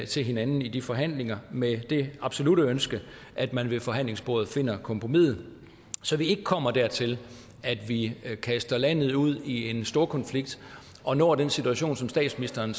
til hinanden i de forhandlinger med det absolutte ønske at man ved forhandlingsbordet finder kompromiset så vi ikke kommer dertil at vi kaster landet ud i en storkonflikt og når den situation som statsministeren